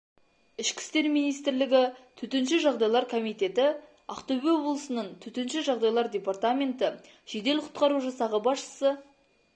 ішкі істер министрлігі төтенше жағдайлар комитеті ақтөбе облысының төтенше жағдайлар департаменті жедел құтқару жасағы басшысы